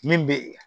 Min bɛ